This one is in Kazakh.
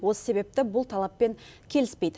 осы себепті бұл талаппен келіспейді